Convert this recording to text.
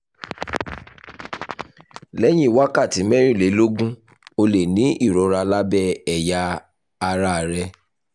lẹ́yìn wákàtí mẹ́rìnlélógún ó lè ní ìrora lábẹ́ ẹ̀yà ara rẹ.